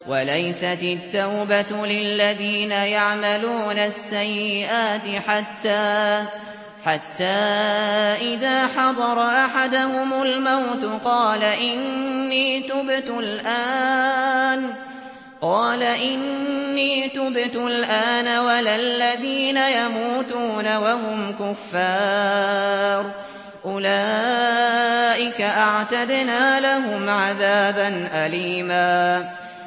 وَلَيْسَتِ التَّوْبَةُ لِلَّذِينَ يَعْمَلُونَ السَّيِّئَاتِ حَتَّىٰ إِذَا حَضَرَ أَحَدَهُمُ الْمَوْتُ قَالَ إِنِّي تُبْتُ الْآنَ وَلَا الَّذِينَ يَمُوتُونَ وَهُمْ كُفَّارٌ ۚ أُولَٰئِكَ أَعْتَدْنَا لَهُمْ عَذَابًا أَلِيمًا